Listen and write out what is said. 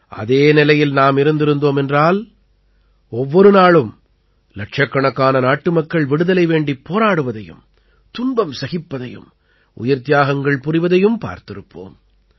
அதே நிலையில் நாம் இருந்திருந்தோம் என்றால் ஒவ்வொரு நாளும் இலட்சக்கணக்கான நாட்டுமக்கள் விடுதலை வேண்டிப் போராடுவதையும் துன்பம் சகிப்பதையும் உயிர்த்தியாகங்கள் புரிவதையும் பார்த்திருப்போம்